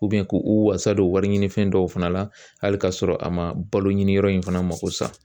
k'u wasa don wariɲinifɛn dɔw fana la hali ka sɔrɔ a ma baloɲini yɔrɔ in fana mago sa